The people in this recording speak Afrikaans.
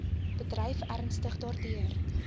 bedryf ernstig daardeur